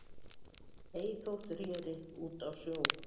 Ei þótt reri út á sjó